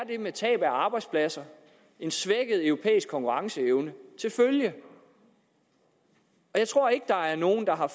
med tab af arbejdspladser og en svækket europæisk konkurrenceevne til følge jeg tror ikke der er nogen der har